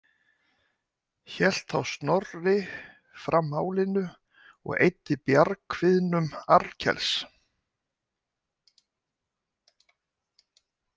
Hélt þá Snorri fram málinu og eyddi bjargkviðnum Arnkels.